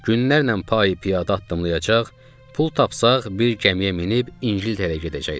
Günlərlə payı-piyada addımlayacaq, pul tapsaq bir gəmiyə minib İngiltərəyə gedəcəkdik.